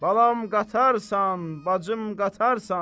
Balam qatarsan, bacım qatarsan.